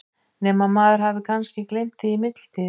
Nema að maður hafi kannski gleymt því í millitíðinni?